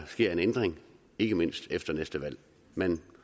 sker en ændring ikke mindst efter næste valg men